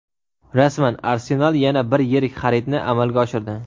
Rasman: "Arsenal" yana bir yirik xaridni amalga oshirdi.